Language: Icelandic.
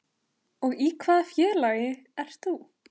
Og í hvaða félagi ert þú?